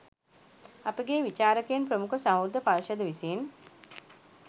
අපගේ විචාරකයින් ප්‍රමුඛ සහෘද පර්ෂද විසින්